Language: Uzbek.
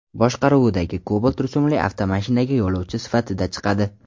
boshqaruvidagi Cobalt rusumli avtomashinaga yo‘lovchi sifatida chiqadi.